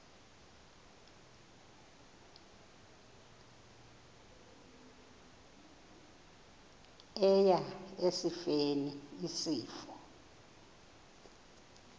eya esifeni isifo